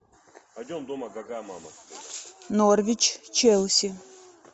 норвич челси